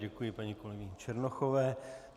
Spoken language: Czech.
Děkuji paní kolegyni Černochové.